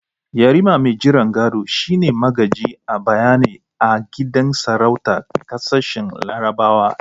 Yarima mai jiran gado shi ne magaji a bayyane a gidan sarautar kasashen larabawa.